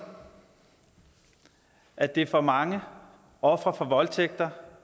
at det for mange ofre for voldtægt